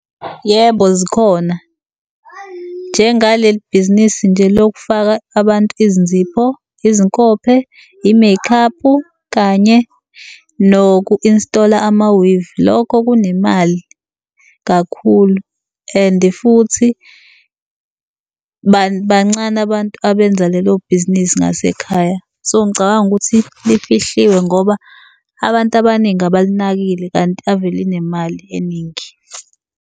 Yebo, zikhona. Njengaleli bhizinisi nje lokufaka abantu izinzipho, izinkophe, yi-make up, kanye noku-install-a ama-weave. Lokho kunemali kakhulu, and futhi bancane abantu abenza lelo bhizinisi ngasekhaya. So, ngicabanga ukuthi lifihliwe ngoba abantu abaningi abalinakile kanti ave linemali eningi.